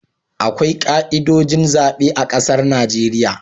Akwai ka'idojin zabe a ƙasar Najeriya